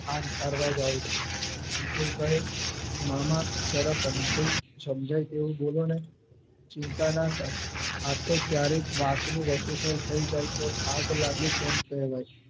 આગ ઠારવા જાવ છું વિપુલ કહે મામા જરા સમજાય એવું બોલો ને ચિંતા ના કર આતો ક્યારેક વાત નું વતેસર થઈ જાય તો આગ લાગે તેમ કહેવાય